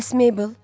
Bəs Meybel?